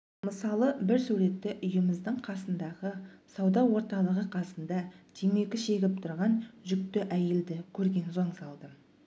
мысалы бір суретті үйіміздің қасындағы сауда орталығы қасында темекі шегіп тұрған жүкті әйелді көрген соң салдым